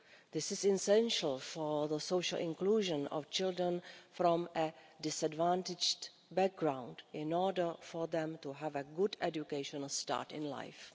This is essential for the social inclusion of children from a disadvantaged background, in order for them to have a good educational start in life.